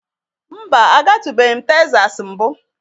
Mba, agatubeghi m Tesas mbụ.